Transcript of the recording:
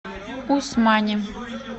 усмани